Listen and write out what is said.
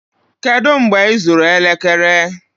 Kedu mgbe ịzụrụ elekere?